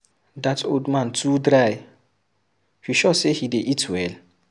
Dat old man too dry, you sure say he dey eat well?